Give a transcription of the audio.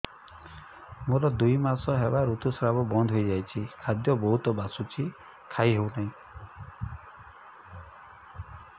ମୋର ଦୁଇ ମାସ ହେଲା ଋତୁ ସ୍ରାବ ବନ୍ଦ ହେଇଯାଇଛି ଖାଦ୍ୟ ବହୁତ ବାସୁଛି ଖାଇ ହଉ ନାହିଁ